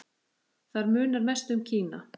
Þar munar mest um Kína.